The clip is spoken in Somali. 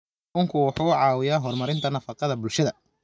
Kalluunku wuxuu caawiyaa horumarinta nafaqada bulshada.